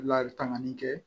Layiri tanganli kɛ